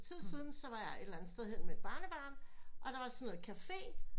Lidt tid siden så var jeg et eller andet sted henne med et barnebarn og der vart sådan noget cafe